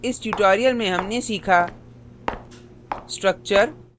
सक्षेप में इस tutorial में हमने सीखा